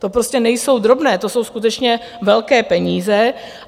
To prostě nejsou drobné, to jsou skutečně velké peníze.